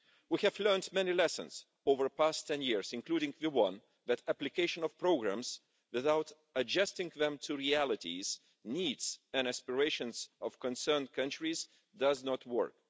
We have learned many lessons over the past ten years, including the one that application of programmes without adjusting them to realities, needs and the aspirations of concerned countries does not work.